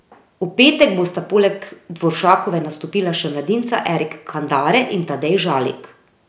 V petek bosta poleg Dvoršakove nastopila še mladinca Erik Kandare in Tadej Žalik.